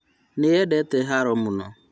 Nĩendete haro mũno